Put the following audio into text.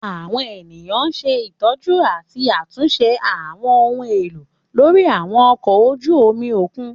Àwọn eniyan ṣe itọju ati atunṣe àwọn ohun elo lori àwọn ọkọ oju omi okun.